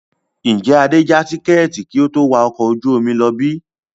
Ǹjẹ́ Adé ja tikẹ́ẹ́tì kí ó tó wà ọkọ̀ ojú omi lọ bí?